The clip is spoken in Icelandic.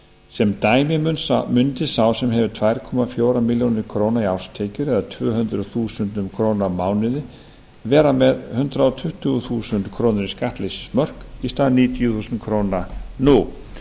sem dæmi mundi sá sem hefur tvær milljónir og fjögur hundruð þúsund krónur í árstekjur eða tvö hundruð þúsund krónur á mánuði vera með hundrað tuttugu þúsund krónur í skattleysismörk í stað níutíu þúsund krónur nú